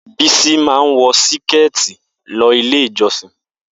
Bisi máa ń wọ Síkẹ̀tí lọ ilé ìjọ́sìn